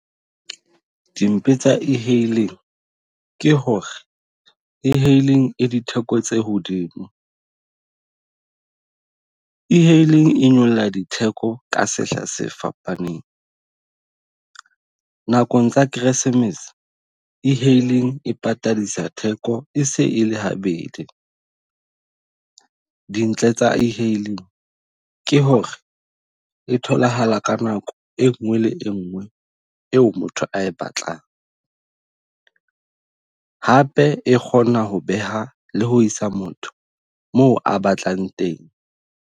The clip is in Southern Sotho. Dimpe tsa e-hailing ke hore e-hailing e ditheko tse hodimo . E-hailing e nyolla ditheko ka sehla se fapaneng. Nakong tsa Keresemese e-hailing e patadisa theko e se e le habedi. Dintle tsa e-hailing ke hore e tholahala ka nako e nngwe le engwe eo motho a e batlang. Hape e kgona ho beha le ho isa motho moo a batlang teng.